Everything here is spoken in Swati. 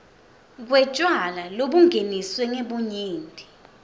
kwetjwala lobungeniswe ngebunyenti